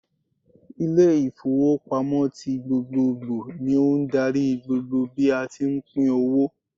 Ile ìfowópamọ́ tí gbogbogbò ni ó n darí gbogbo bí a tí pín owó